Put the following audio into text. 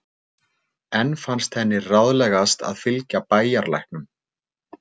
Enn fannst henni ráðlegast að fylgja bæjarlæknum.